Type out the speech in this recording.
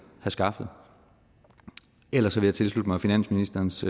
skaffet ellers vil jeg tilslutte mig finansministerens